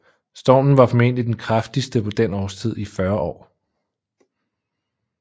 Stormen var formentlig den kraftigste på den årstid i 40 år